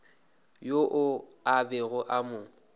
yoo a bego a mo